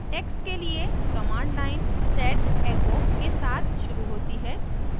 text के लिए command line set echo के साथ शुरू होती है